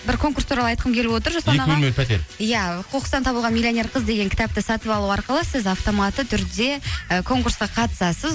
бір конкурс туралы айтқым келіп отыр иә қоқыстан табылған миллионер қыз деген кітапты сатып алу арқылы сіз автоматты түрде і конкурсқа қатысасыз